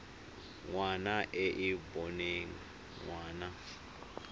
ngwana e e boneng ngwana